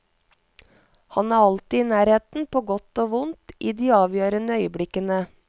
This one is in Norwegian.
Han er alltid i nærheten, på godt og vondt, i de avgjørende øyeblikkene.